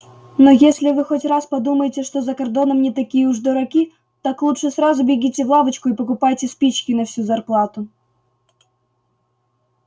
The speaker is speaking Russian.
но если вы хоть раз подумаете что за кордоном не такие уж дураки так лучше сразу бегите в лавочку и покупайте спички на всю зарплату